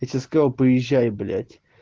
я тебе сказал поезжай блять